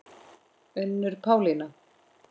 Unnur Pálína.